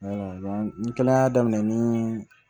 n kɛlen y'a daminɛ ni